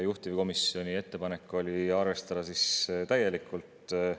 Juhtivkomisjoni ettepanek oli arvestada täielikult.